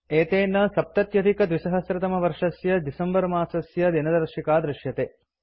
एतेन २०७०December इत्यस्य दिनदर्शिका दृश्यते